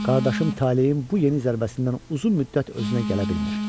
Qardaşım talehin bu yeni zərbəsindən uzun müddət özünə gələ bilmir.